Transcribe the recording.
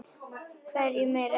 Hverjum er ekki sama?